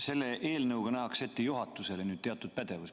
Selle eelnõuga nähakse juhatusele ette teatud pädevus.